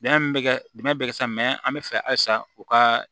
Bɛn bɛ kɛ bɛnɛ bɛ kɛ sa an bɛ fɛ halisa u ka